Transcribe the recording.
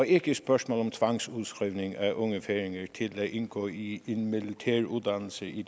ikke et spørgsmål om tvangsudskrivning af unge færinger til at indgå i en militær uddannelse i